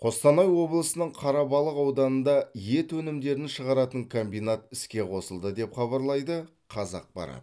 қостанай облысының қарабалық ауданында ет өнімдерін шығаратын комбинат іске қосылды деп хабарлайды қазақпарат